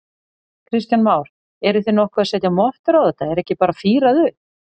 Kristján Már: Eruð þið nokkuð að setja mottur á þetta, er ekki bara fírað upp?